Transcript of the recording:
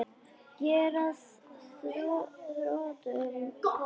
Ég er að þrotum kominn.